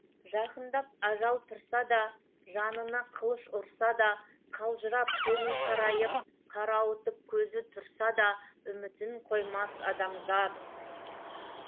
жақындап ажал тұрса да жанына қылыш ұрса да қалжырап көңіл қарайып қарауытып көзі тұрса да үмітін қоймас адамзат